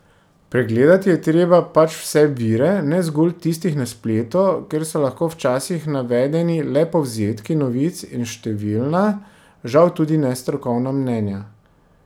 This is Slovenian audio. Pregledati je treba pač vse vire, ne zgolj tistih na spletu, kjer so lahko včasih navedeni le povzetki novic in številna, žal tudi nestrokovna mnenja.